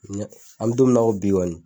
an mɛ don min na ko bi kɔni